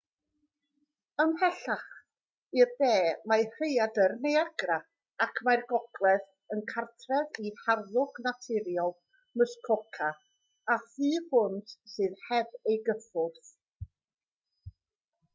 ymhellach i'r de mae rhaeadr niagra ac mae'r gogledd yn gartref i harddwch naturiol muskoka a thu hwnt sydd heb ei gyffwrdd